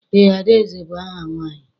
Eé, Adaeze bụ aha nwaanyị.